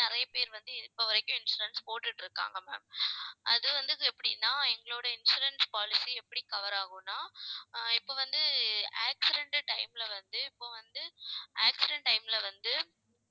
நிறைய பேர் வந்து இப்ப வரைக்கும், insurance போட்டுட்டிருக்காங்க ma'am ஆஹ் அது வந்தது எப்படின்னா எங்களோட insurance policy எப்படி cover ஆகும்ன்னா ஆஹ் இப்ப வந்து accident time ல வந்து இப்ப வந்து accident time ல வந்து